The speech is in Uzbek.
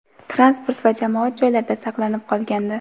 transport va jamoat joylarida saqlanib qolgandi.